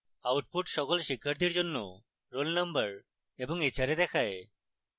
output সকল শিক্ষার্থীর জন্য roll number এবং hra দেখায়